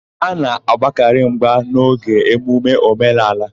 A na-agbakarị mgba n'oge emume omenaala.